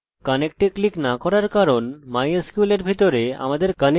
যতক্ষণ এই দুটি সংরক্ষিত আছে শুধু mysql dot php রান করতে পারি